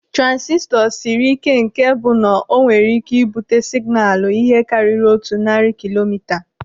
Transistọ siri ike nke bụ na o nwere ike ibute signaalu ihe karịrị otu narị kilomita.